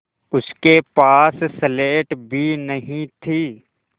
उसके पास स्लेट भी नहीं थी